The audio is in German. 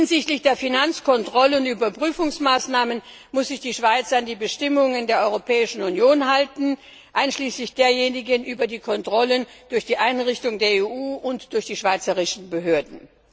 Hinsichtlich der Finanzkontrollen und Überprüfungsmaßnahmen muss sich die Schweiz an die Bestimmungen der Europäischen Union halten, einschließlich derjenigen über die Kontrollen durch die Einrichtung der EU und durch die Schweizer Behörden.